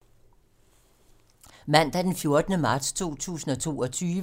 Mandag d. 14. marts 2022